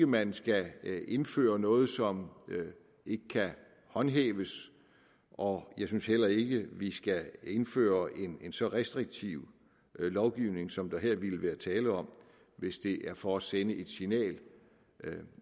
man skal indføre noget som ikke kan håndhæves og jeg synes heller ikke at vi skal indføre en så restriktiv lovgivning som der her ville være tale om hvis det er for at sende et signal